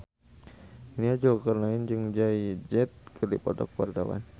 Nia Zulkarnaen jeung Jay Z keur dipoto ku wartawan